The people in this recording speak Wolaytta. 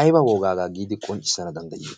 aiba wogaagaa giidi qonccissana danddayiyo?